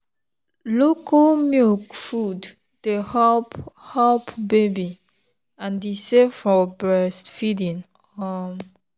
local milk food dey help help baby and e safe for breastfeeding. um